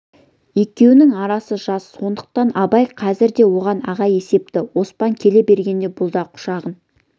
екеуінің арасы жас сондықтан абай қазір де оған аға есепті оспан келе бергенде бұл да құшағын